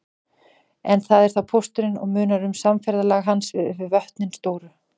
En það er þá pósturinn og munar um samferðalag hans yfir vötnin stóru.